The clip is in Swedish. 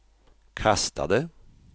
kastade